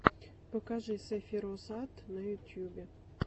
покажи сэфироз ат на ютубе